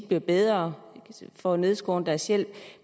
blive bedre får nedskåret deres hjælp